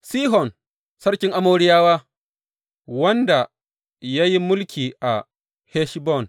Sihon sarkin Amoriyawa, wanda ya yi mulki a Heshbon.